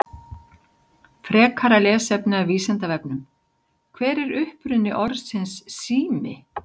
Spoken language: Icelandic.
Frekara lesefni af Vísindavefnum: Hver er uppruni orðsins sími?